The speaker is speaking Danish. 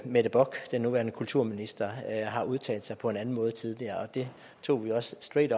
mette bock den nuværende kulturminister har udtalt sig på en anden måde tidligere og det tog vi også straight